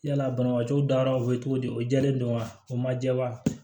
Yala banabaatɔw dara u bɛ cogo di o jɛlen don wa o ma jɛ wa